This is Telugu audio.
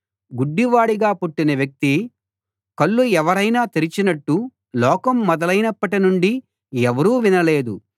గుడ్డివాడిగా పుట్టిన వ్యక్తి కళ్ళు ఎవరైనా తెరిచినట్టు లోకం మొదలైనప్పటి నుండి ఎవరూ వినలేదు